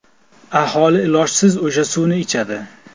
Aholi ilojsiz o‘sha suvni ichadi.